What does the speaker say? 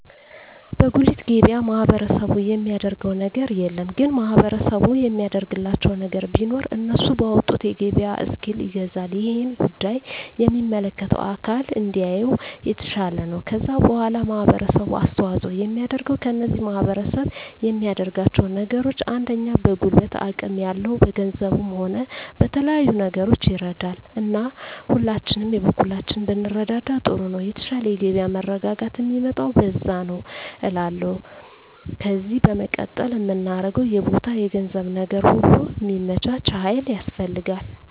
በጉልት ገበያ ማህበረሰቡ የሚያደረገው ነገር የለም ግን ማህበረሰቡ የሚያደርግላቸው ነገር ቢኖር እነሱ ባወጡት የገበያ እስኪል ይገዛል እሄን ጉዳይ የሚመለከተው አካል እንዲያየው የተሻለ ነው ከዛ በዋላ ማህበረሰቡ አስተዋጽኦ የሚያደርገው ከዚህ ማህረሰብ የሚያደርጋቸው ነገሮች አንደኛ በጉልበት አቅም ያለው በገንዘቡም ሆነ በተለያዩ ነገሮች ይረዳል እና ሁላችንም የበኩላችንን ብንረዳዳ ጥሩ ነው የተሻለ የገበያ መረጋጋት ሚመጣው በዛ ነዉ እላለሁ ከዜ በመቀጠል ምናገረው የቦታ የገንዘብ ነገር ሁሉ ሚመቻች ሀይል ያስፈልጋል